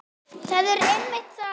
Það er einmitt það!